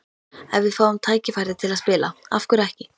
Ef við fáum tækifærið til að spila, af hverju ekki?